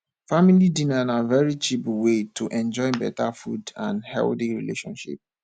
family dinner na very cheap way to enjoy better food and healthy relationship